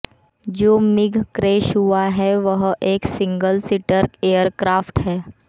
जो MiG crash हुआ है वह एक सिंगिल सीटर एयरक्राफ्ट है